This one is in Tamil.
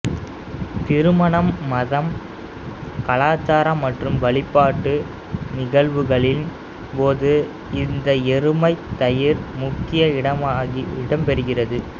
திருமணம் மதம் கலாச்சாரம் மற்றும் வழிபாட்டு நிகழ்வுகளின் போது இந்த எருமைத் தயிர் முக்கிய இடம்பெறுகிறது